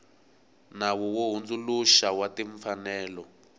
nawu wo hundzuluxa wa timfanelo